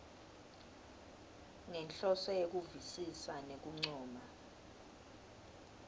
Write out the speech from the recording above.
ngenhloso yekuvisisa nekuncoma